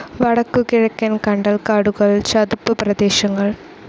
വടക്കുകിഴക്കൻ കണ്ടൽ കാടുകൾ, ചതുപ്പ് പ്രദേശങ്ങൾ